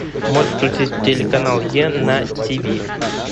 можешь включить телеканал е на тв